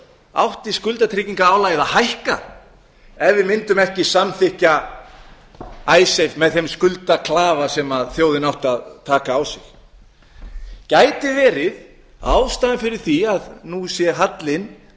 átti skuldatryggingarálagið að hækka ef við mundum ekki samþykkja icesave með þeim skuldaklafa sem þjóðin átti að taka á sig gæti verið ástæða fyrir því að nú sé hallinn